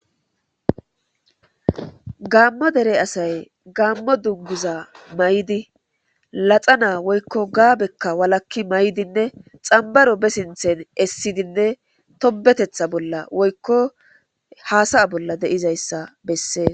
gaammo dere asay gaammo dunguza maydi laxa naa woykko gaabekka walakki maydinne xambaro be sinthen essidinne tobetetha bolla woykko haasaya bolla deizayssa bessee